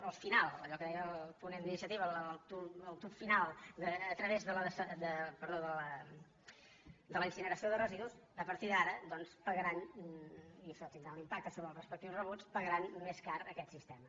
el final allò que deia el ponent d’iniciativa el tub final a través de la incineració de residus a partir d’ara doncs pagaran i això tindrà un impacte sobre els respectius rebuts més car aquest sistema